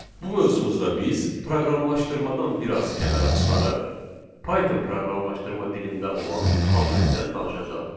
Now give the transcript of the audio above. Bu mövzumuzda biz proqramlaşdırmadan biraz kənara çıxaraq Python proqramlaşdırma dilində olan kommentdən danışacağıq.